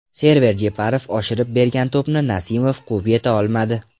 Server Jeparov oshirib bergan to‘pni Nasimov quvib yeta olmadi.